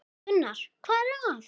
Gunnar: Hvað er það?